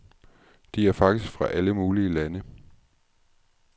De er faktisk fra alle mulige lande.